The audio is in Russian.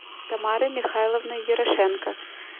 тамарой михайловной ерошенко